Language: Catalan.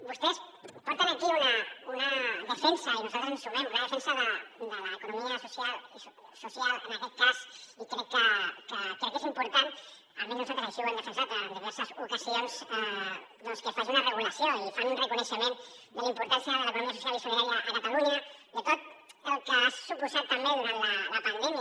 vostès porten aquí una defensa i nosaltres ens hi sumem de l’economia social en aquest cas i crec que és important almenys nosaltres així ho hem defensat en diverses ocasions doncs que se’n faci una regulació i fan un reconeixement de la importància de l’economia social i solidària a catalunya de tot el que ha suposat també durant la pandèmia